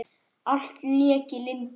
Allt lék í lyndi.